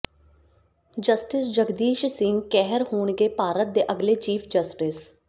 justice Jagdish Singh Kehar ਹੋਣਗੇ ਭਾਰਤ ਦੇ ਅਗਲੇ ਚੀਫ ਜਸਟਿਸ